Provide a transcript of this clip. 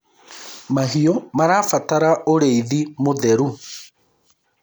mahiũ marabatara ũrĩithi mũtheru